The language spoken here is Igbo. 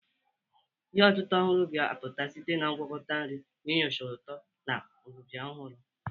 Ihe otita ọhụrụ ga-apụta site na ngwakọta nri, na-enyocha ụtọ na udidi ọhụrụ.